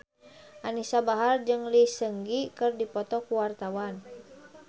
Anisa Bahar jeung Lee Seung Gi keur dipoto ku wartawan